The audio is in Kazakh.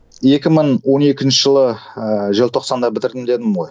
екі мың он екінші жылы ыыы желтоқсанда бітірдім дедім ғой